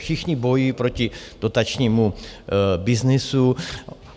Všichni bojují proti dotačnímu byznysu.